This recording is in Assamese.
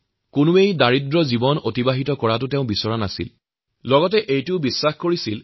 দেশৰ কোনো লোক যাতে দৰিদ্ৰ জীৱন নাথাকে সেই বিষয়েও আম্বেদকাৰে চিন্তা কৰিছিল